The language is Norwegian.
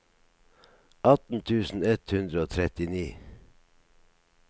atten tusen ett hundre og trettini